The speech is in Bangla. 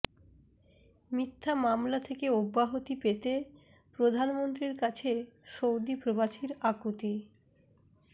মিথ্যা মামলা থেকে অব্যাহতি পেতে প্রধানমন্ত্রীর কাছে সৌদি প্রবাসীর আকুতি